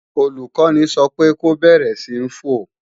Olùkọ́ni sọ pé ko bẹ̀rẹ̀ sí ń fò!